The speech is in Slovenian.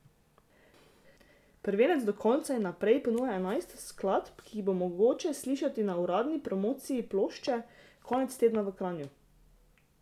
Prvenec Do konca in naprej ponuja enajst skladb, ki jih bo mogoče slišati na uradni promociji plošče konec tedna v Kranju.